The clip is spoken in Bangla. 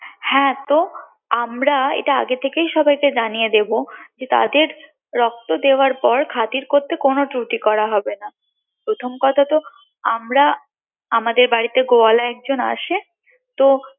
হ্যাঁ তো আমরা এটা আগে থেকেই সবাইকে জানিয়ে দেবো যে তাদের রক্ত দেওয়ার পর খাতির করতে কোনো ত্রুটি করা হবে না প্রথম কথা তো আমদের বাড়ীতে গোয়ালা একজন আসে তো